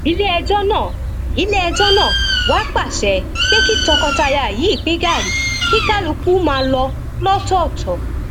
iléẹjọ náà iléẹjọ náà wá pàṣẹ pé kí tọkọtaya yìí pín gàárì kí kálukú máa lọ lọtọọtọ